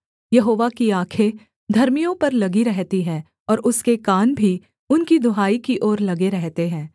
यहोवा की आँखें धर्मियों पर लगी रहती हैं और उसके कान भी उनकी दुहाई की ओर लगे रहते हैं